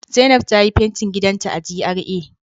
Zainab ta yi fentin gidanta a GRA